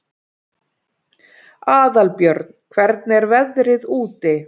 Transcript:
Aðalbjörn, hvernig er veðrið úti?